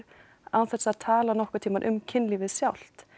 án þess að tala nokkurn tíman um kynlífið sjálft